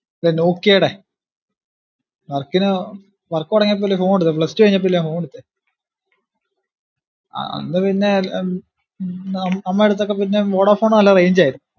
പിന്നെ നോക്ക്യേടെ work ന് work തൊടങ്ങിയപ്പോല്ലേ ഒരു phone എടുത്തേ plus two കഴിഞ്ഞപ്പോ അല്ലെ phone എടുത്തേ അഹ് അന്ന് പിന്ന അഹ് ഉം അമ്മേടെ അടുത്തൊക്കെ പിന്നേം വൊഡാഫോണ് നല്ല range ആർന്ന്